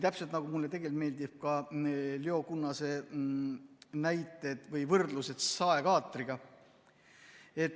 Täpselt nagu mulle tegelikult meeldivad ka Leo Kunnase näited või võrdlused saekaatriga.